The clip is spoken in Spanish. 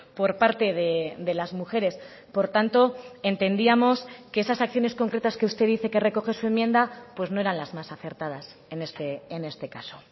por parte de las mujeres por tanto entendíamos que esas acciones concretas que usted dice que recoge su enmienda pues no eran las más acertadas en este caso